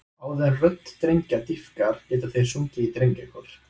Áður en rödd drengja dýpkar geta þeir sungið í drengjakór.